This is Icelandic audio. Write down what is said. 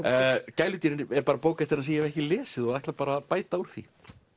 gæludýrin er bók eftir hann sem ég hef ekki lesið og ætla að bæta úr því